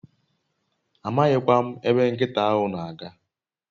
Amaghi kwa m ebe nkita ahu n'aga